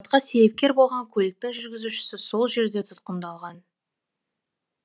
ал апатқа себепкер болған көліктің жүргізушісі сол жерде тұтқындалған